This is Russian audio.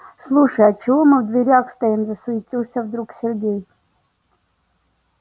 слушай а чего мы в дверях стоим засуетился вдруг сергей